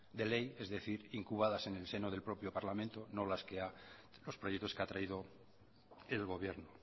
de ley es decir incubadas en el seno del propio parlamento no las que ha los proyecto que ha traído el gobierno